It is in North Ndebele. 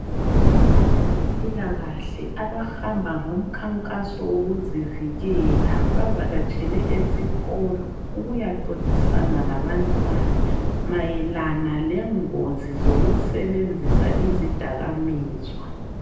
Abezempilakahle abahamba ngomkhankaso wokuzivikela bavakatshele esikolo ukuyaxoxisana labantwana mayelana lengozi yokusebenzisa izidakamizwa.